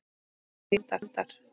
Amelía: Hundar.